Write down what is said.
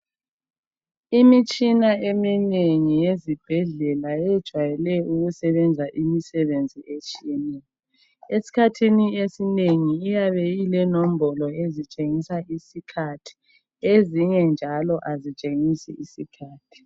Imitshina eminengi yezibhedlela iyejwayele ukusebenza imisebenzi etshiyeneyo. Es'khathini esinengi iyabe ilenombolo ezitshengisa isikhathi ezinye njalo azitshengisi isikhathi.